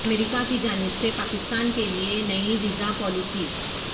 امریکا کی جانب سے پاکستان کے لیے نئی ویزا پالیسی